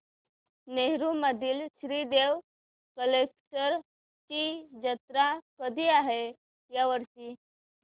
नेरुर मधील श्री देव कलेश्वर ची जत्रा कधी आहे या वर्षी